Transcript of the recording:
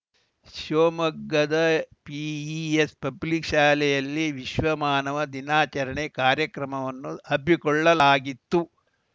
ಶಿವಮೊಗ್ಗದ PES public ಶಾಲೆಯಲ್ಲಿ ವಿಶ್ವ ಮಾನವ ದಿನಾಚರಣೆ ಕಾರ್ಯಕ್ರಮವನ್ನು ಹಮ್ಮಿಕೊಳ್ಳಲಾಗಿತ್ತು